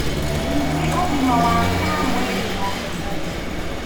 Ningĩ ũgima waku wa mwĩrĩ no ũthũke